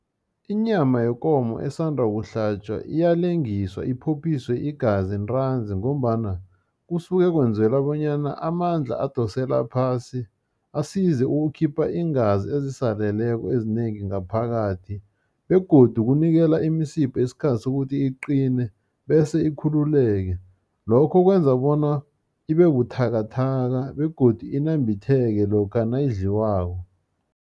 Inyama yekomo esanda kuhlatjwa iyalengiswa iphophiswe igazi ntranzi, ngombana kusuke kwenzela bonyana amandla adosele phasi, asize ukukhipha iingazi ezisaleleko ezinengi ngaphakathi, begodu kunikela imisipha isikhathi sokuthi iqine, bese ikhululeke. Lokho kwenza bona ibe buthakathaka, begodu inambitheke lokha nayidliwako.